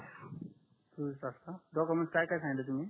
चोवीस तास काय डॉक्युमेंट काय काय सांगितले तुम्ही